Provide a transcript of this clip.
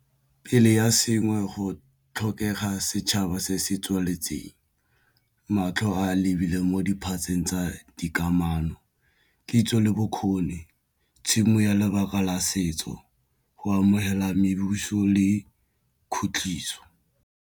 Pele ya sengwe go tlhokega setšhaba se se tsweletseng matlho a lebile mo diphatseng tsa dikamano, kitso le bokgoni tshimo ya lebaka la setso go amogela mebusong le khutliso.